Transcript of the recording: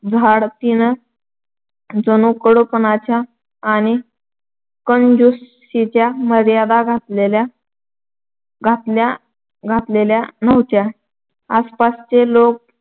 झाड तिन जणू कडूपणाच्या आणि कंजुषीच्या मर्यादा घातलेल्या घातल्या घातलेल्या नव्हत्या. आसपासचे लोक